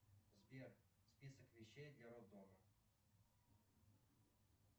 сбер список вещей для роддома